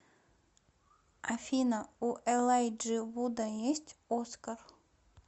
афина у элайджи вуда есть оскар